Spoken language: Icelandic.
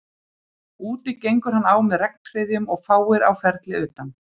Úti gengur hann á með regnhryðjum og fáir á ferli utan